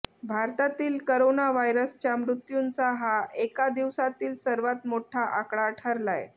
भारतातील करोना व्हायरसच्या मृत्युंचा हा एका दिवसातील सर्वात मोठा आकडा ठरलाय